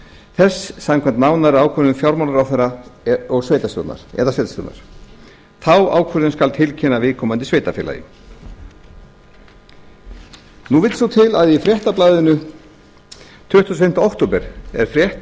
þess samkvæmt nánari ákvörðun fjármálaráðherra eða sveitarstjórnar þá ákvörðun skal tilkynna viðkomandi sveitarfélagi nú vill svo til að í fréttablaðinu tuttugasta og fimmta október er frétt